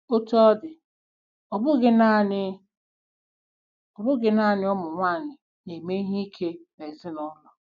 Otú ọ dị, ọ bụghị nanị bụghị nanị ụmụ nwanyị na-eme ihe ike n'ezinụlọ.